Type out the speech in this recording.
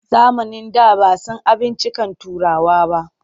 Zamanin da ba a san abinciccikan Turawa ba.